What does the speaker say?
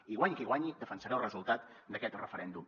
i guanyi qui guanyi defensaré el resultat d’aquest referèndum